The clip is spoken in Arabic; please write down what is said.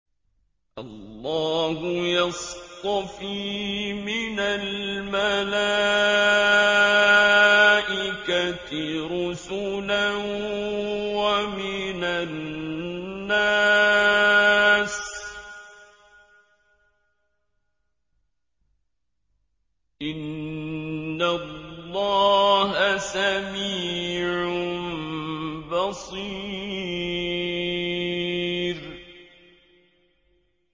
اللَّهُ يَصْطَفِي مِنَ الْمَلَائِكَةِ رُسُلًا وَمِنَ النَّاسِ ۚ إِنَّ اللَّهَ سَمِيعٌ بَصِيرٌ